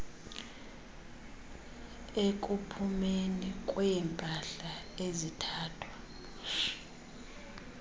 ekuphumeni kweempahla ezithathwa